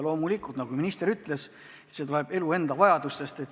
Loomulikult, nagu minister ütles, see tuleb elu enda vajadustest.